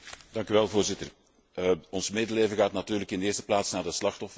Voorzitter, ons medeleven gaat natuurlijk in de eerste plaats naar de slachtoffers.